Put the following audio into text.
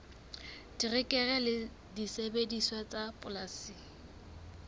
terekere le disebediswa tsa polasing